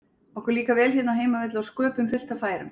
Okkur líkar vel hérna á heimavelli og sköpum fullt af færum.